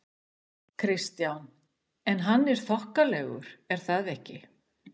Kristján: En hann er þokkalegur er það ekki?